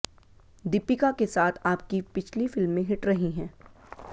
दीपिका के साथ आपकी पिछली फिल्में हिट रही हैं